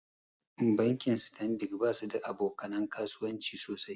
Bankin stanbik basu da aboka nan kasuwanci sosai.